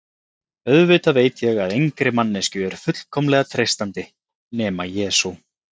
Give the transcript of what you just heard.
Auðvitað veit ég að engri manneskju er fullkomlega treystandi, nema Jesú